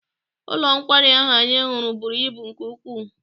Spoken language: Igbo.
Ụlọ nkwari ahụ anyị hụrụ buru ibu nke ukwuu.